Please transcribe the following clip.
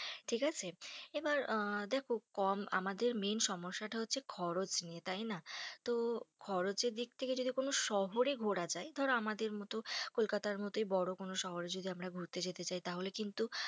ঠিক আছে, এবার দেখো কম আমাদের main সমস্যাটা হচ্ছে খরচ নিয়ে তাই না, তো খরচ এর দিক দিয়ে যদি কেন শহরে ঘোরা যাই, ধরো আমাদের মতো কলকাতার মতোই বড়ো কোনো শহরে যদি আমরা ঘুরতে যেতে চাই তাহলে কিন্তু,